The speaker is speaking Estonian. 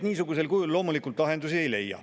Niimoodi lahendusi loomulikult ei leia.